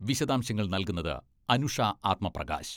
വിശദാംശങ്ങൾ നൽകുന്നത് അനുഷ ആത്മപ്രകാശ്...